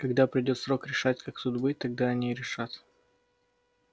когда придёт срок решать как тут быть тогда они и решат